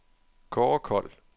Kaare Kold